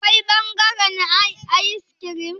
Akwai bangaren ayis kirim?